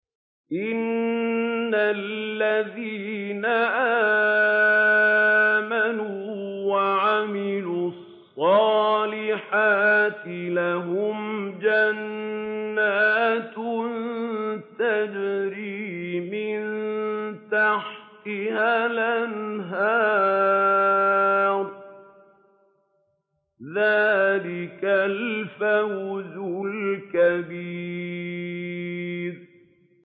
إِنَّ الَّذِينَ آمَنُوا وَعَمِلُوا الصَّالِحَاتِ لَهُمْ جَنَّاتٌ تَجْرِي مِن تَحْتِهَا الْأَنْهَارُ ۚ ذَٰلِكَ الْفَوْزُ الْكَبِيرُ